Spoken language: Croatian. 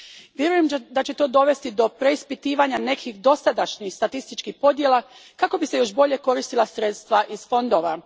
Vjerujem da će to dovesti do preispitivanja nekih dosadašnjih statističkih podjela kako bi se još bolje koristila sredstva iz fondova.